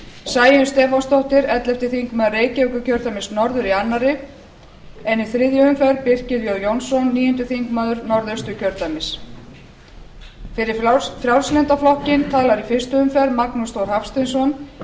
sæunn stefánsdóttir ellefti þingmaður reykjavíkurkjördæmis norður í annað en í þriðju umferð birkir jón jónsson níundi þingmaður norðausturkjördæmis fyrir frjálslynda flokkinn talar í fyrstu umferð magnús þór hafsteinsson